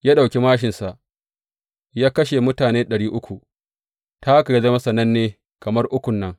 Ya ɗauki māshinsa ya kashe mutane ɗari uku, ta haka ya zama sananne kamar Ukun nan.